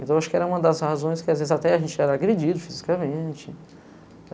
Então, eu acho que era uma das razões que, às vezes, até a gente era agredido fisicamente.